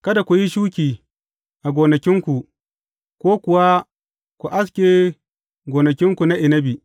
Kada ku yi shuki a gonakinku, ko kuwa ku aske gonakinku na inabi.